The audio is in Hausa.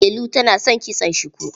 Delu tana son kitson shuku.